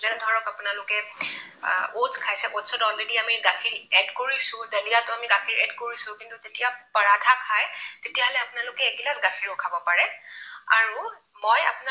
Oats খাই চাব। oats ত already আমি গাখীৰ add কৰিছো। দালিয়াতো আমি গাখীৰ add কৰিছো কিন্তু যেতিয়া পৰাঠা খায় তেতিয়াহলে আপোনালোকে এগিলাচ গাখীৰো খাব পাৰে। আৰু মই